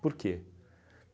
Por quê?